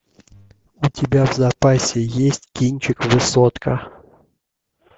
у тебя в запасе есть кинчик высотка